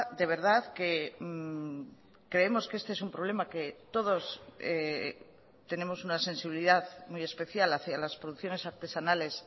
de verdad que creemos que este es un problema que todos tenemos una sensibilidad muy especial hacia las producciones artesanales